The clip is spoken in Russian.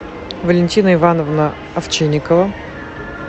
валентина ивановна овчинникова